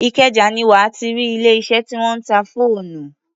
Ìkẹjà ni wà á ti rí ilé-iṣẹ́ tí wọ́n ń ta fóònù.